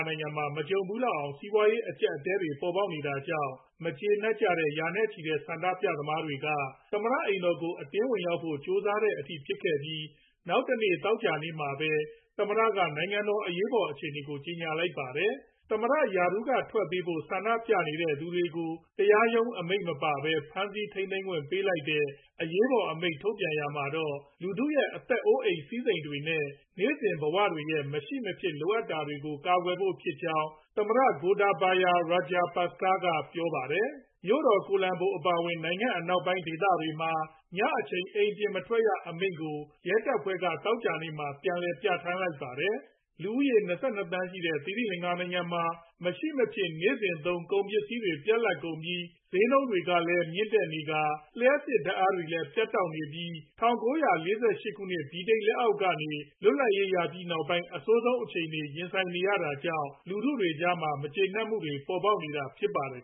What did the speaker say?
နိုင်ငံမှာ မကြုံဖူးလောက်အောင် စီးပွားရေး အကျပ်အတည်းတွေ ပေါ်ပေါက်နေတာကြောင့် မကျေနပ်ကြတဲ့ ရာနဲ့ချီတဲ့ ဆန္ဒပြသူတွေ သမ္မတအိမ်ကို အတင်းဝင်ရောက်ဖို့ ကြိုးစားတဲ့အထိ ဖြစ်ခဲ့ပြီး နောက်တနေ့ သောကြာနေ့မှာပဲ သမ္မတက နိုင်ငံမှာ အရေးပေါ်အခြေအနေ ကြေညာလိုက်ပါတယ်။ သမ္မတ ရာထူးကထွက်ပေးဖို့ ဆန္ဒပြနေသူတွေကို တရားရုံးအမိန့်မပါပဲ ဖမ်းဆီးထိန်းသိမ်းခွင့် ပေးလိုက်တဲ့ အရေးပေါ်အမိန့် ထုတ်ပြန်ရာမှာတော့ လူထု့ရဲ့အသက်အိုးအိမ်စည်းစိမ်တွေနဲ့ နေ့စဉ်ဘဝတွေရဲ့ မရှိမဖြစ်လိုအပ်တာတွေကို ကာကွယ်ဖို့ဖြစ်ကြောင်း သမ္မတ Gotabaya Rajapaksa ကပြောဆိုခဲ့ပါတယ်။ မြို့တော် ကိုလံဘို အပါအဝင် နိုင်ငံ အနောက်ပိုင်းဒေသတွေမှာ ညအချိန် အိမ်ပြင်မထွက်ရအမိန့်ကို ရဲတပ်ဖွဲ့က သောကြာနေ့မှာ ပြန်လည်ပြဌာန်းထားပါတယ်။ လူဦးရေ ၂၂ သန်းရှိတဲ့ သီရိလင်္ကာနိုင်ငံမှာ မရှိမဖြစ် နေ့စဉ်သုံး ကုန်ပစ္စည်းတွေ ပြတ်လပ်နေပြီး၊ ကုန်ဈေးနှုန်းတွေကလည်း မြင့်တက် လျှပ်စစ်ဓါတ်အားတွေလည်း ပြတ်တောက်နေပြီး၊ ၁၉၄၈ ဗြိတိန်လက်အောက်ကနေ လွတ်လပ်ရေးရပြီးနောက်ပိုင်း အဆိုးဆုံးအခြေအနေနဲ့ ရင်ဆိုင်နေရတာကြောင့် လူထုကြား မကျေနပ်မှုတွေ ပေါ်ပေါက်နောတ ဖြစ်ပါတယ်